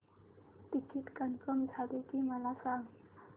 ticket confirm झाले की मला सांग